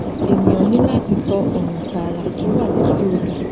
ẹnìà ní láti tọ ọnà tààrà tó wà létí odò